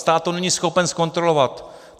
Stát to není schopen zkontrolovat.